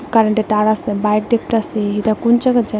কারেন্টের তার আসে বাইক দেখতাসি এটা কুন জায়গা যেন।